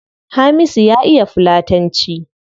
Hamisu ya iya fulatanci